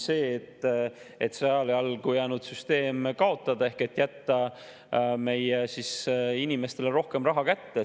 Ongi see, et see ajale jalgu jäänud süsteem kaotada ehk jätta meie inimestele rohkem raha kätte.